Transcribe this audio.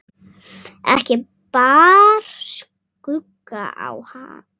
Ekki bar skugga á.